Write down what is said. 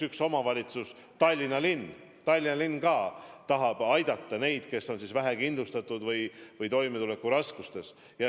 Üks omavalitsus, Tallinna linn tahab aidata neid, kes on vähekindlustatud või toimetulekuraskustes.